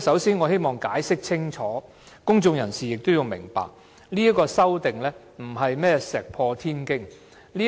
首先，我希望清楚解釋一點，而公眾人士亦有需要明白，這項修正案並非石破天驚